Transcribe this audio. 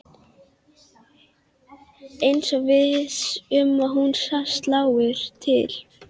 Eins og viss um að hún slái til.